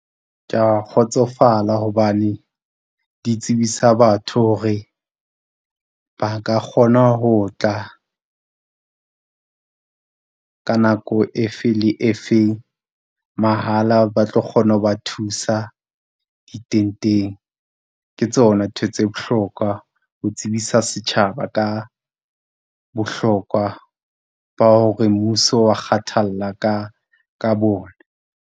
Ke ya kgotsofala hobane di tsebisa batho hore, ba ka kgona ho tla ka nako e fe le e feng mahala, ba tlo kgona ho ba thusa ditenteng. Ke tsona ntho tse bohlokwa ho tsebisa setjhaba ka bohlokwa ba hore mmuso o wa kgathalla ka, ka bona.